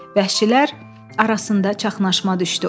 Vəhşilər arasında çaşnaşma düşdü.